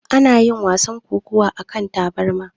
Ana yin wasan kokawa akan tabarma.